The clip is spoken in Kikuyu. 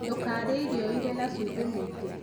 Ndũkarĩe irio irĩ na cumbĩ mũingĩ.